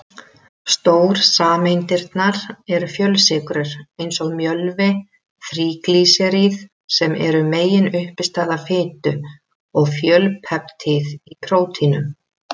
Stórsameindirnar eru fjölsykrur eins og mjölvi, þríglýseríð sem eru meginuppistaða fitu, og fjölpeptíð í prótínum.